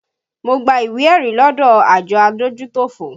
Mo gba ìwé ẹ̀rí lọdọ àjọ adójútòfò